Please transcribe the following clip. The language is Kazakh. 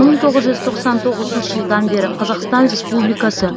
мың тоғыз жүз тоқсан тоғызыншы жылдан бері қазақстан республикасы